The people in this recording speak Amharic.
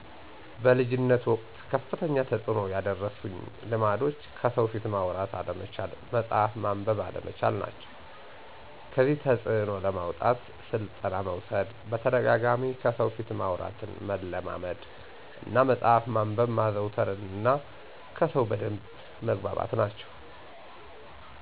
በልጅነት ወቅት ከፍተኛ ተጽዕኖ የደረሱኝ ልማዶች ከሰው ፊት ማውራት አለመቻል፣ መጽሀፍ ማንበብ አለመቻል ናቸው። ከዚህ ተፅዕኖ ለማውጣት ስልጠና መውሰድ በተደጋጋሚ ከሰው ፊት ማውራትን መለማመድ እና መፅሀፍ ማንበብ ማዘውተር እነ ከሰው በደንብ መግባባት ናቸው